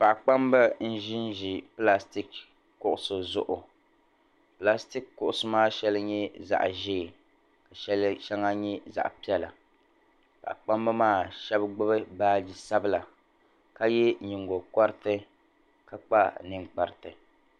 Paɣ'kpamba n-ʒinʒi plastik kuɣusi zuɣu plastik kuɣusi maa shɛli nye zaɣ'ʒee ka shɛli shɛŋa nye zaɣ'piɛla paɣ'kpamb' maa shɛb' gbubi baaji sabila ka ye nyigogɔriti ka kpa ninkpariti.